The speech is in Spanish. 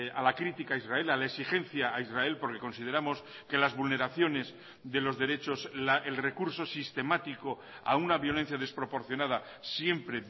a la crítica a israel a la exigencia a israel porque consideramos que las vulneraciones de los derechos el recurso sistemático a una violencia desproporcionada siempre